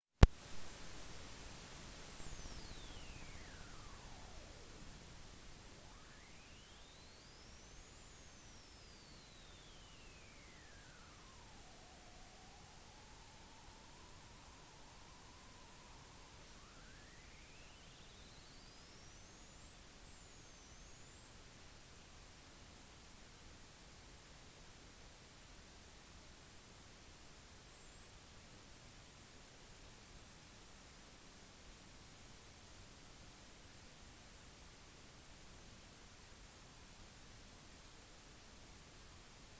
«det finnes kun én planet så vidt vi vet som viser mer dynamikk enn titan og navnet på den er jorden» la stofan til